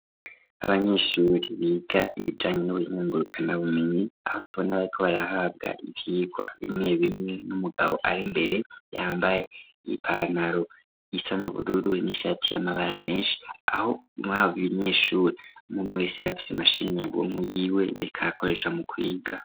Abanyeshuri biga ibijanye n'ubuhinga ngurukanabumenyi aho tubona bariko barahabwa ivyigwa bimwe bimwe n'umugabo ari mbere yambaye ipantaro isa n'ubururu n'ishati y'amabara menshi aho abanyeshuri umuwe wese yabafise imashini yiwe yariko arakoresha mu kwiga.